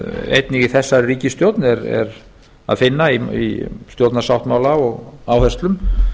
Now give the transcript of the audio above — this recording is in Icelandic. einnig í þessari ríkisstjórn er að finna í stjórnarsáttmála og áherslum